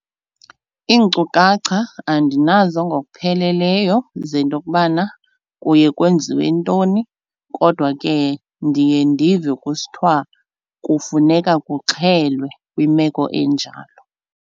Iinkcukacha andinazo ngokupheleleyo zento yokubana kuye kwenziwe ntoni kodwa ke ndiye ndive kusithiwa kufuneka kuxhelwe kwimeko enjalo.